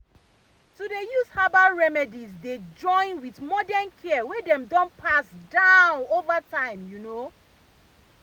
to dey use herbal remedies dey join with modern care wey dem don pass down over time you know.